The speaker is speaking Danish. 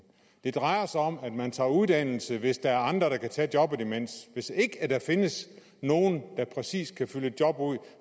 det drejer sig om at man tager uddannelse hvis der er andre der kan tage jobbet imens hvis ikke der findes nogen der præcis kan fylde et job ud